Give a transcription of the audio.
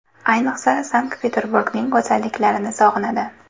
Ayniqsa Sankt-Peterburgning go‘zalliklarini sog‘inadi.